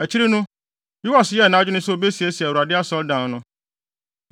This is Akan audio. Akyiri no, Yoas yɛɛ nʼadwene sɛ obesiesie Awurade Asɔredan no.